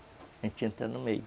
A gente entra no meio.